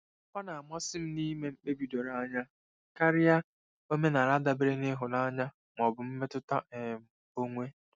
Ọ na-amasị m ime mkpebi doro anya karịa omenala dabere na ịhụnanya ma ọ bụ mmetụta um onwe.